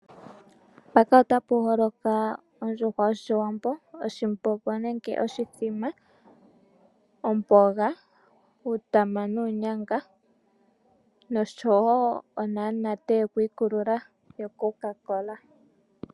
Otapu holoka ondjuhwa yOshiwambo, oshimbombo nenge oshithima, omboga, uutama nuunyanga noshowo onamunate yokwiikulula yoCocacola.